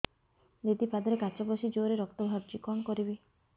ଦିଦି ପାଦରେ କାଚ ପଶି ଜୋରରେ ରକ୍ତ ବାହାରୁଛି କଣ କରିଵି